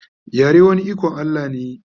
yare wani iKon Allah ne